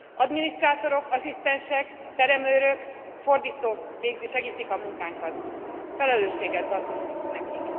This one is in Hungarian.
Adminisztrátorok, asszisztensek, teremőrök, fordítók segítik a munkánkat, felelősséggel tartozunk nekik.